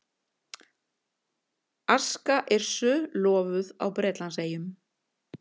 Aska Yrsu lofuð á Bretlandseyjum